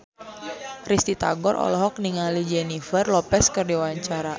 Risty Tagor olohok ningali Jennifer Lopez keur diwawancara